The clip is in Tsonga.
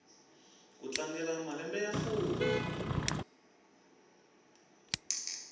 ku tlangela malembe ya fumi